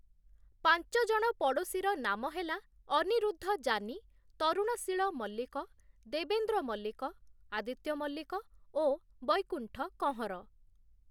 ପାଞ୍ଚ ଜଣ ପଡ଼ୋଶୀର ନାମ ହେଲା, ଅନିରୁଦ୍ଧ ଯାନୀ, ତରୁଣଶୀଳ ମଲ୍ଲିକ, ଦେବେନ୍ଦ୍ର ମଲ୍ଲିକ, ଆଦିତ୍ୟ ମଲ୍ଲିକ ଓ ବୈକୁଣ୍ଠ କହଁର ।